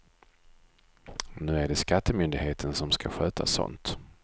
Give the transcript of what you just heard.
Nu är det skattemyndigheten som ska sköta sånt.